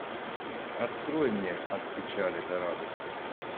открой мне от печали до радости